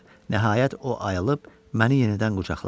Nəhayət, o ayılıb məni yenidən qucaqladı.